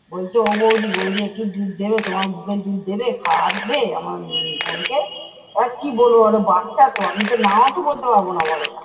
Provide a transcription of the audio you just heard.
বলতো ও বৌদি বৌদি একটু দুধ দেবে? তোমার বুকের দুধ দেবে? খাওয়াবে উহ আমার বোনকে। এবার কী বলবো বল বাচ্চা তো আমি তো নাও তো বলতে পারবো না বলো নাঃ।